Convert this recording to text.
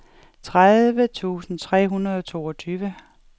tredive tusind tre hundrede og toogtyve